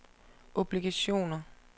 obligationer